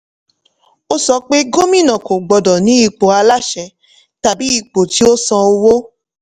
ó sọ pé gómìnà kò gbọ́dọ̀ ní ipò aláṣẹ tàbí ipò tí ó san owó.